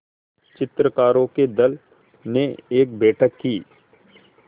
चित्रकारों के दल ने एक बैठक की